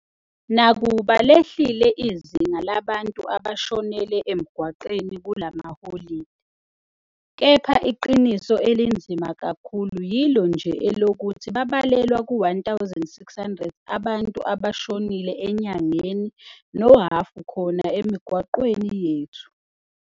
Nakuba lehlile izinga labantu abashonele emgwaqweni kula maholide, kepha iqiniso elinzima kakhulu yilo nje elokuthi babalelwa ku-1,600 abantu abashonile enyangeni nohhafu khona emigwaqweni yethu.